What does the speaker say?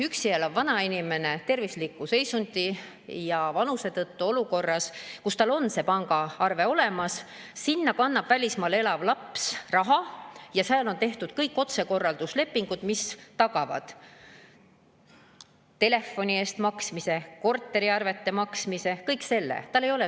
Üksi elav vana inimene on tervisliku seisundi ja vanuse tõttu olukorras, et tal on see pangaarve olemas, aga sinna kannab välismaal elav laps raha ja on tehtud kõik otsekorralduslepingud, mis tagavad telefoni eest maksmise, korteriarvete eest maksmise, kõik selle.